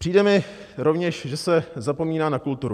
Přijde mi rovněž, že se zapomíná na kulturu.